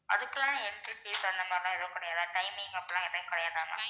அதுக்கெல்லாம் entry fees அந்த மாதிரில்லாம் எதுவும் கிடையாதா? timing அப்படியெல்லாம் எதுவுமே கிடையாதா ma'am